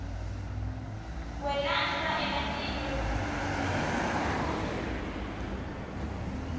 kwelashwa kwematinyo lokukhetsekile